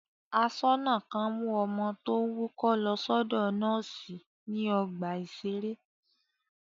Aṣọ́nà kan mú ọmọ tó ń wúkọ́ lọ sọ́dọ̀ nọ́ọ́sì ní ọgbà-ìṣeré.